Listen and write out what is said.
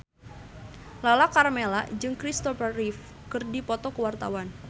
Lala Karmela jeung Christopher Reeve keur dipoto ku wartawan